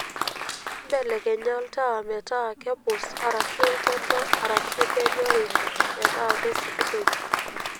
mbelekenya oltaa metaa kepus arashu edo arashu kenyori metaa kesikitoi